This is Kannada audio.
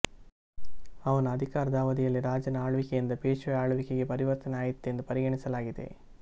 ಅವನ ಅಧಿಕಾರದ ಅವಧಿಯಲ್ಲಿ ರಾಜನ ಆಳ್ವಿಕೆಯಿಂದ ಪೇಷ್ವೆಯ ಆಳ್ವಿಕೆಗೆ ಪರಿವರ್ತನೆ ಆಯಿತೆಂದು ಪರಿಗಣಿಸಲಾಗಿದೆ